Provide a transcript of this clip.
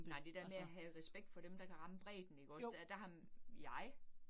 Nej det der med at have respekt for dem, der kan ramme bredden ikke også, der der har jeg